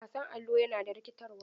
Wasan Allo yana da rikitarwa.